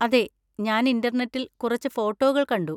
അതെ, ഞാൻ ഇന്‍റർനെറ്റിൽ കുറച്ച് ഫോട്ടോകൾ കണ്ടു.